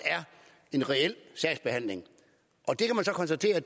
en reel sagsbehandling det kan man så konstatere